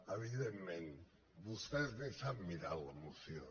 evidentment vostès ni s’han mirat la moció